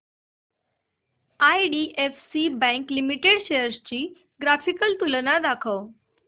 IDFC bank limited shares ची graphical तुलना दाखव